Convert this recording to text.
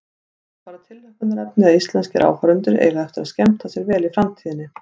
Það er bara tilhlökkunarefni að íslenskir áhorfendur eiga eftir að skemmta sér vel í framtíðinni.